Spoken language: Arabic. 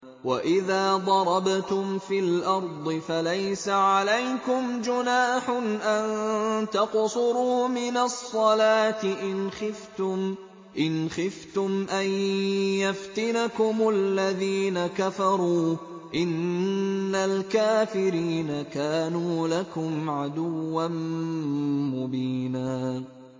وَإِذَا ضَرَبْتُمْ فِي الْأَرْضِ فَلَيْسَ عَلَيْكُمْ جُنَاحٌ أَن تَقْصُرُوا مِنَ الصَّلَاةِ إِنْ خِفْتُمْ أَن يَفْتِنَكُمُ الَّذِينَ كَفَرُوا ۚ إِنَّ الْكَافِرِينَ كَانُوا لَكُمْ عَدُوًّا مُّبِينًا